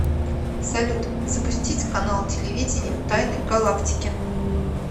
салют запустить канал телевидения тайны галактики